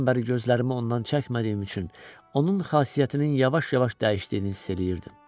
Aydan bəri gözlərimi ondan çəkmədiyim üçün, onun xasiyyətinin yavaş-yavaş dəyişdiyini hiss eləyirdim.